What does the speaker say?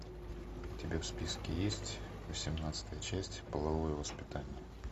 у тебя в списке есть восемнадцатая часть половое воспитание